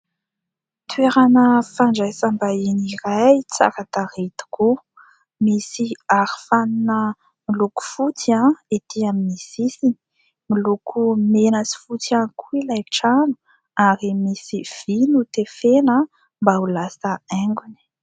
Toerana fandraisam-bahiny iray, tsara tarehy tokoa. Misy arofanina miloko fotsy ety amin'ny sisiny. Miloko mena sy fotsy ihany koa ilay trano ary misy vy notefena mba ho lasa haingony.